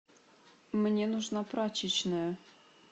мне нужна прачечная